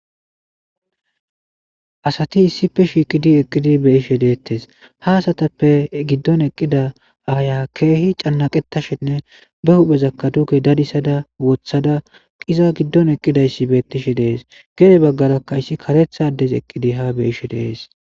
Asati issife shiiqidi eqqidi beyishe deettes haasatappe giddon eqqida aaya keehi cannaqetashinne be huphezakka duge dadisada wothada qiza giddon eqqidayssi beettishe dees gede baggarakka issi karethades eqqidi ha beyishe dees'